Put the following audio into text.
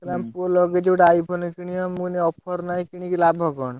କହିଲା ଆମ ପୁଅ ଲଗେଇଛି ଗୋଟେ iPhone କିଣିବ। ମୁଁ କହିନି offer ନାଂହି କିଣିକି ଲାଭ କଣ।